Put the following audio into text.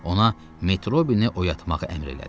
Ona Metrobini oyatmağı əmr elədi.